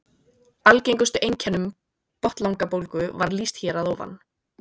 Algengustu einkennum botnlangabólgu var lýst hér að ofan.